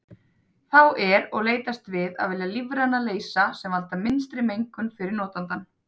Þá er og leitast við að velja lífræna leysa sem valda minnstri mengun fyrir notandann.